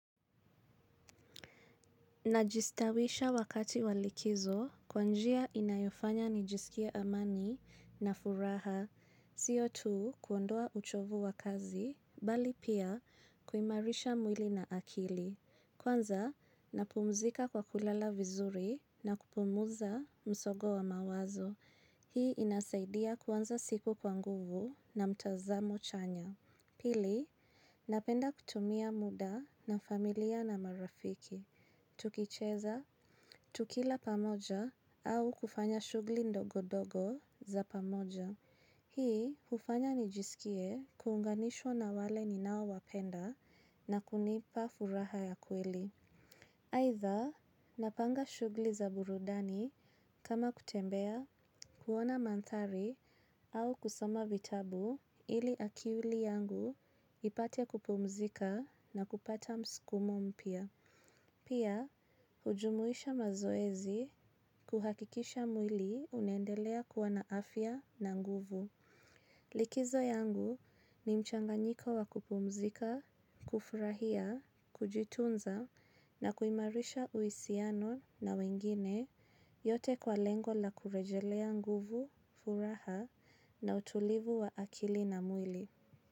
Najistawisha wakati wa likizo kwa njia inayofanya nijisikie amani na furaha. Sio tu kuondoa uchovu wa kazi, bali pia kuimarisha mwili na akili. Kwanza, napumzika kwa kulala vizuri na kupunguza msongo wa mawazo. Hii inasaidia kwanza siku kwa nguvu na mtazamo chanya. Pili, napenda kutumia muda na familia na marafiki. Tukicheza, tukila pamoja au kufanya shughuli ndogo ndogo za pamoja. Hii hufanya nijisikie kuunganishwa na wale ninaowapenda na kunipa furaha ya kweli. Aidha, napanga shughuli za burudani kama kutembea, kuona mandhari au kusoma vitabu, ili akili yangu ipate kupumzika na kupata msukumo mpya. Pia, hujumuisha mazoezi kuhakikisha mwili unendelea kuwa na afya na nguvu. Likizo yangu ni mchanganyiko wa kupumzika, kufurahia, kujitunza na kuimarisha uhusiano na wengine yote kwa lengo la kurejesha nguvu, furaha na utulivu wa akili na mwili.